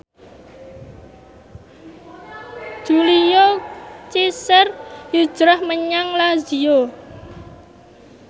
Julio Cesar hijrah menyang Lazio